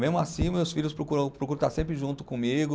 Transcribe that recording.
Mesmo assim, meus filhos procuram, procuram estar sempre junto comigo.